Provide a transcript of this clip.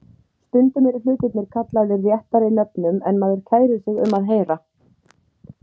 Stundum eru hlutirnir kallaðir réttari nöfnum en maður kærir sig um að heyra.